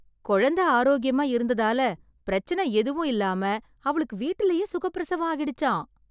கொழந்தை ஆரோக்கியமா இருந்ததால, பிரச்சனை எதுவும் இல்லாம அவளுக்கு வீட்டிலேயே சுகப் பிரசவம் ஆகிடுச்சாம்...